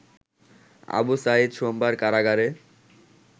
আবু সাঈদ সোমবার কারাগারে